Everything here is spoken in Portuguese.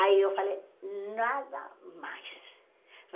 Aí eu falei, nada mais.